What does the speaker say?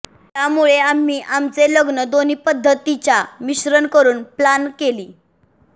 यामुळे आम्ही आमचे लग्न दोन्ही पध्दतीच्या मिश्रण करुन प्लान केली